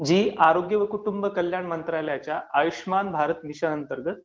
जी आरोग्य व कुटुंब कल्याण मंत्रालयाच्या आयुष्यमान भारत मिशन अंतर्गत दोन हजार अठरा मध्ये सुरु केलेली आहे.